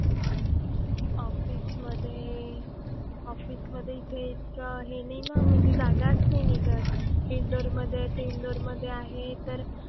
Office मधे, office मधे इथे इतकं हे नाही ना म्हणजे जागाच नाही निघत. इंदोर मधे ते इंदोर मधे आहे तर,